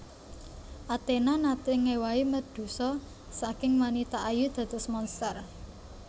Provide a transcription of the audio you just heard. Athena naté ngéwahi Medusa saking wanita ayu dados monster